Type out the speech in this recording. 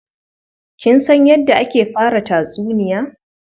Kin san yadda ake fara tatsuniya?